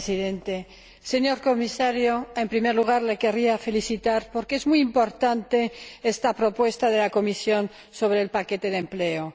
Señor Presidente, señor Comisario, en primer lugar le quería felicitar porque es muy importante esta propuesta de la Comisión sobre el paquete de empleo.